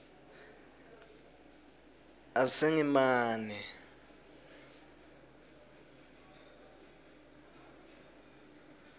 asengimane